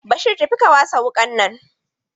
Bashir tafi ka wasa wuƙa nan!